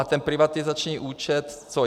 A ten privatizační účet co?